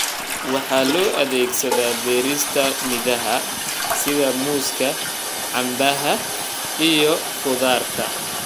Waxa loo adeegsadaa beerista midhaha sida muuska, canbaha, iyo khudaarta.